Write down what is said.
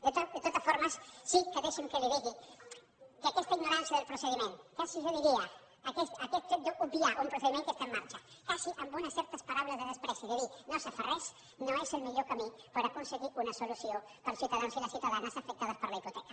de totes formes sí que deixi’m que li digui que aquesta ignorància del procediment quasi jo diria aquest fet d’obviar un procediment que està en marxa quasi amb unes certes paraules de menyspreu de dir no s’ha fet res no és el millor camí per aconseguir una solució per als ciutadans i les ciutadanes afectades per la hipoteca